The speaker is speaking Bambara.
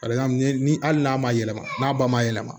ni hali n'a ma yɛlɛma n'a ba ma yɛlɛma